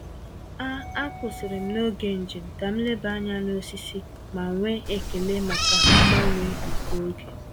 A A kwụsịrị m n’oge njem ka m leba anya na osisi ma nwee ekele maka mgbanwe nke oge.